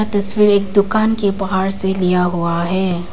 तस्वीर एक दुकान के बाहर से लिया हुआ है।